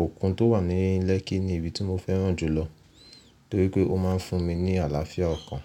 òkun tó wà ní Lekki ni ibi tí mo fẹ́ràn jù lọ torí pé ó máa ń fún mi ní àlàáfíà ọkàn.